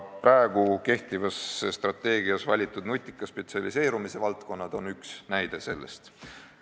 Ka kehtivas strateegias valitud nutika spetsialiseerumise valdkonnad on üks näide selle kohta.